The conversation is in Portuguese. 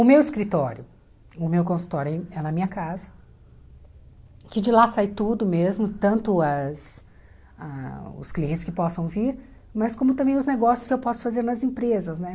O meu escritório, o meu consultório é na minha casa, que de lá sai tudo mesmo, tanto as ah os clientes que possam vir, mas como também os negócios que eu posso fazer nas empresas, né?